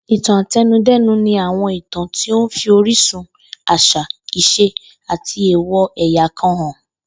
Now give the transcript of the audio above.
Ìtàn ate̩nudé̩nu ni àwo̩n ìtàn tó ń fi orísun, às̩à, ìs̩e àti èwò̩ è̩yà kan hàn